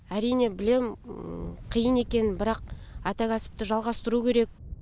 әрине білемін қиын екенін бірақ ата кәсіпті жалғастыру керек